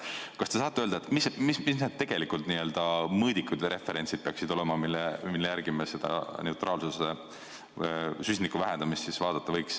Kas te saate öelda, mis peaksid tegelikult olema need mõõdikud või referentsid, mille järgi me seda neutraalsust, süsiniku vähendamist võiksime vaadata?